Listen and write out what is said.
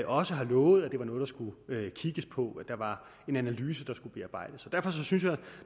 også lovede at det var noget der skulle kigges på der var en analyse der skulle bearbejdes derfor synes jeg at